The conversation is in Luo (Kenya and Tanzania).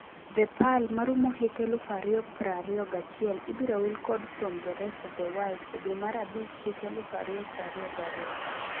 The Pearl' marumo hik eluf ario prario gachiel ibiro wil kod 'From the rest of the World' e dwe mar abich hik eluf ario prario gario.